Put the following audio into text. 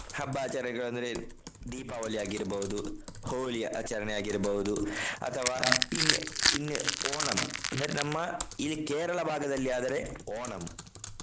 ಹಬ್ಬ ಆಚರಣೆಗಳು ಅಂದ್ರೆ ದೀಪಾವಳಿ ಆಗಿರ್ಬಹುದು. ಹೋಳಿ ಆಚರಣೆ ಆಗಿರ್ಬಹುದು ಅಥವಾ ಇನ್~ ಇನ್~ ಓಣಂ ಅಂದ್ರೆ ನಮ್ಮ ಇದು ಕೇರಳ ಭಾಗದಲ್ಲಿ ಆದ್ರೆ ಓಣಂ.